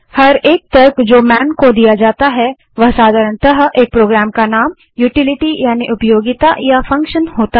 प्रत्येक तर्क जो मैन को दिया जाता है वह साधारणतः एक प्रोग्राम का नाम यूटीलीटी यानि उपयोगिता या फंक्शन होता है